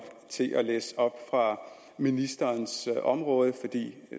til at læse op fra ministerens område fordi det